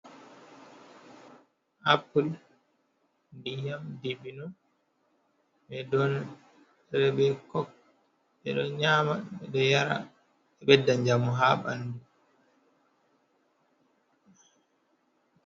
Apul, nɗiyam, ɗibino. Be ɗon rebe kok. beɗo nyama. Beɗo yara beɗɗa jamu ha banɗu.